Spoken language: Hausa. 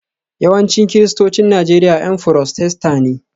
Yawancin Kiristocin Najeriya 'Yan Furotesta ne